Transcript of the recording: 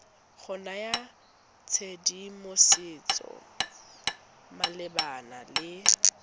go naya tshedimosetso malebana le